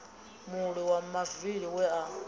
mulwi wa mavili we a